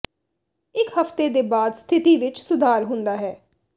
ਇੱਕ ਹਫ਼ਤੇ ਦੇ ਬਾਅਦ ਸਥਿਤੀ ਵਿੱਚ ਸੁਧਾਰ ਹੁੰਦਾ ਹੈ